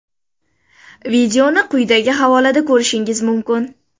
Videoni quyidagi havolada ko‘rishingiz mumkin.